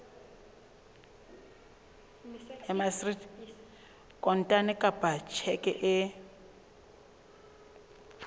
kontane kapa ka tjheke e